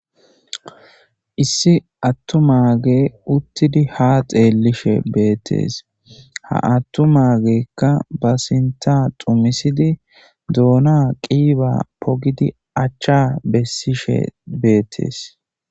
Issi attumaage uttidi ha xeellishe beettees ha attumaageekka ba sinta xumisidi doona qiiba pogidi achcha bessishe beettees.